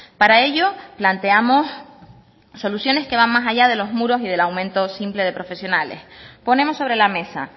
para ello planteamos soluciones que van más allá de los muros y del aumento simple de profesionales ponemos sobre la mesa